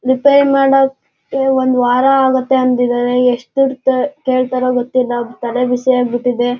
Repair ಮಾಡೋಕೆ ಒಂದ್ ವಾರ ಆಗುತ್ತೆ ಅಂದಿದ್ದಾರೆ ಯೆಸ್ಟ್ ದುಡ್ ಕೇಳತಾರೋ ಗೊತ್ತಿಲ್ಲ ತಲೆ ಬಿಸಿ ಆಗ್ಬಿಟ್ಟಿದೆ.